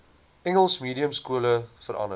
engels mediumskole verander